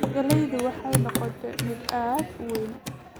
Galleydu waxay noqotay mid aad u weyn